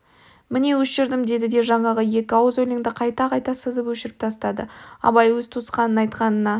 міне өшірдім деді де жаңағы екі ауыз өленді қайта-қайта сызып өшіріп тастады абай өз туысқанын айтқанына